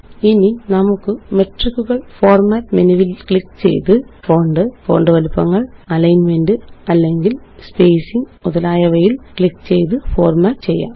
ഇനി നമുക്ക് മെട്രിക്കുകള് ഫോര്മാറ്റ് മെനുവില് ക്ലിക്ക് ചെയ്ത് ഫോണ്ട് ഫോണ്ട് വലിപ്പങ്ങള് അലിന്മെന്റ് അല്ലെങ്കില് സ്പേസിംഗ് മുതലായവയില് ക്ലിക്ക് ചെയ്ത് ഫോര്മാറ്റ് ചെയ്യാം